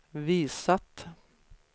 visat